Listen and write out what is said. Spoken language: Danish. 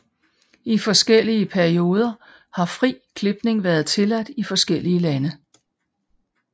I forskellige perioder har fri klipning været tilladt i forskellige lande